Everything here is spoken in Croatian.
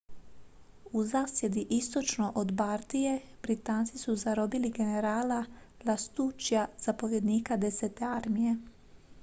u zasjedi istočno od bardije britanci su zarobili generala lastuccija zapovjednika desete armije